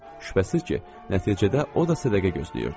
Şübhəsiz ki, nəticədə o da sədaqə gözləyirdi.